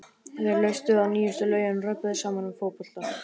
Þeir hlustuðu á nýjustu lögin og röbbuðu saman um fótbolta.